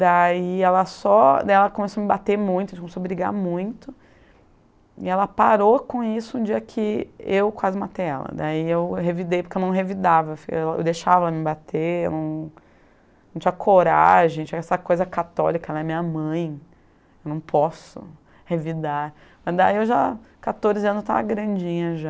Daí ela só, daí ela começou a me bater muito, a gente começou a brigar muito e ela só parou com isso no dia que eu quase matei ela, daí eu revidei, porque eu não revidava, eu deixava ela me bater , não, não tinha coragem, tinha essa coisa católica, ela é minha mãe, eu não posso revidar. Daí eu já, com quatorze anos, estava grandinha já